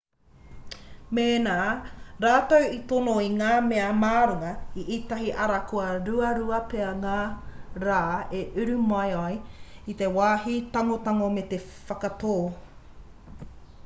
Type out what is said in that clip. mēnā rātou i tono i ngā mea mā runga i ētahi ara ka ruarua pea ngā rā e uru mai ai i te wāhi tangotango me te whakatō